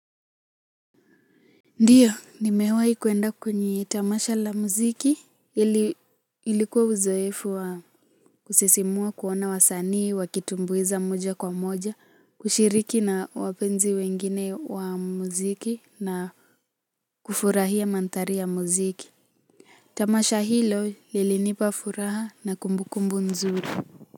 Ndio nimewahi kuenda kwenye tamasha la muziki ilikuwa uzoefu wa kusisimua kuona wasanii wakitumbuiza moja kwa moja, kushiriki na wapenzi wengine wa muziki na kufurahia mantari ya muziki. Tamasha hilo lilinipa furaha na kumbukumbu nzuri.